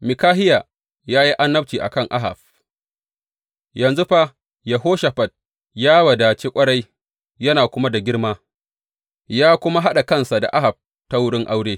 Mikahiya ya yi annabci a kan Ahab Yanzu fa Yehoshafat ya wadace ƙwarai yana kuma da girma, ya kuma haɗa kansa da Ahab ta wurin aure.